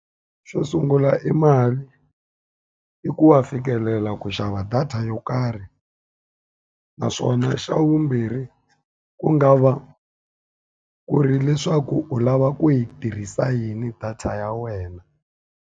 Xo sungula i mali, i ku wa fikelela ku xava data yo karhi. Naswona xa vumbirhi ku nga va ku ri leswaku u lava ku yi tirhisa yini data ya wena.